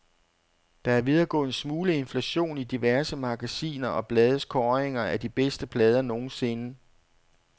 Der er ved at gå en smule inflation i diverse magasiner og blades kåringer af de bedste plader nogensinde.